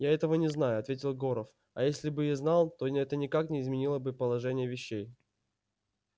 я этого не знаю ответил горов а если бы и знал то это никак не изменило бы положения вещей